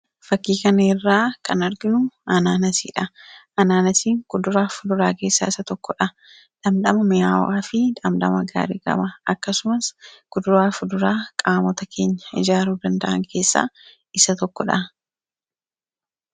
fakkii kanirraa kan arginu anaanasiidha .anaanasiin kuduraa fuduraa keessaa isa tokkodha dhaamdhama mi'aawa fi dhaamdama gaarii gama akkasumas kuduraa fuduraa qaamota keenya ijaaruu danda’an keessaa isa tokkodha